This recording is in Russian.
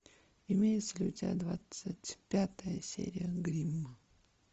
имеется ли у тебя двадцать пятая серия гримм